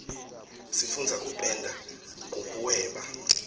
sifundza kupenda nkubuweba